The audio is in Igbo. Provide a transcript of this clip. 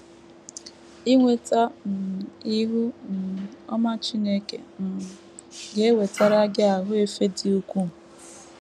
Inweta um ihu um ọma Chineke um ga - ewetara gị ahụ efe dị ukwuu.